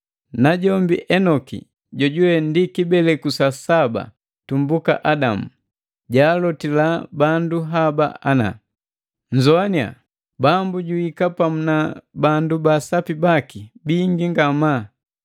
Najombi Enoki, jojuwe ndi kibeleku sa saba tumbuka Adamu, jaalotila bandu haba ana: “Nzoaninya! Bambu juhika pamu na bandu baasapi baki bingi ngamaa.